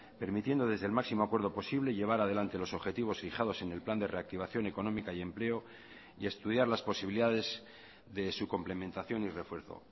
permitiendo desde el máximo acuerdo posible llevar adelante los objetivos fijados en el plan de reactivación económica y empleo y estudiar las posibilidades de su complementación y refuerzo